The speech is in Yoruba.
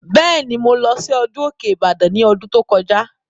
Bẹ́ẹ̀ni, mo lọ sí ọdún Òkè Ìbàdàn ní ọdún tó kọjá